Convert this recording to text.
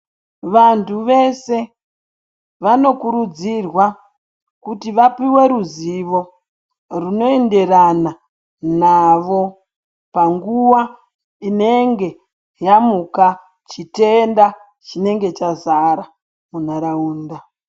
Vantu vese vanokurudzirwa kuti vapuwe ruzivo runoenderana navo panguwa inenge yamuka chitenda chinenge chazara munharaunda.